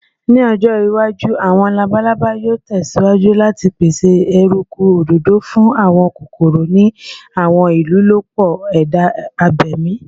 Ni ojo iwaju, awọn labalaba yoo tẹsiwaju lati pese eruku adodo fun awọn kokoro ni awọn ilolupo eda abemi.